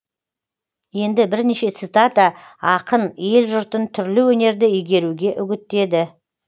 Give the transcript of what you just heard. енді бірнеше цитата ақын ел жұртын түрлі өнерді игеруге үгіттеді